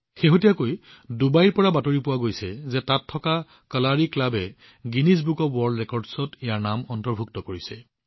শেহতীয়াকৈ ডুবাইৰ পৰা এটা বাতৰি আহিছিল যে তাত থকা Kalari club Guinness book of world ৰেকৰ্ডছত নিজৰ নাম পঞ্জীয়ন কৰিছে